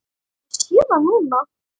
Ég sé það núna!